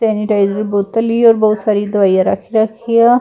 Sanitiser ਬੋਤਲ ਹੀ ਔਰ ਬਹੁਤ ਸਾਰੀਆਂ ਦਵਾਈ ਰੱਖ ਰੱਖੀ ਆ।